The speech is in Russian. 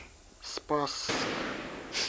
спасск